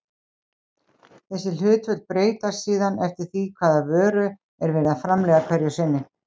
Þessi hlutföll breytast síðan eftir því hvaða vöru er verið að framleiða hverju sinni.